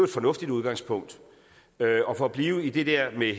fornuftigt udgangspunkt for at blive i det der med